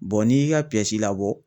n'i y'i ka labɔ